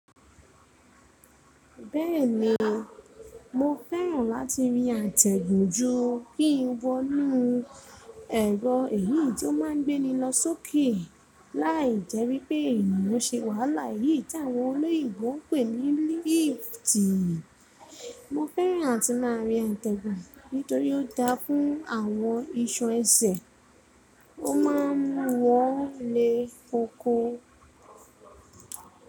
Bẹ́ẹ̀ni, mo fẹ́ràn láti rí àtẹ̀gùn ju kí n wọ inú ẹ̀rọ èyí tó má n gbé ni lọ sókè láì jewi pé èniyan se wàhálà èyí tí àwọn olóyìíbo n pè ní lift. Mo fẹ́ràn àti máa rí àtẹ̀gùn nítorí ó dáa fún àwọn iṣan ẹsẹ̀, ó ma wọlé koko.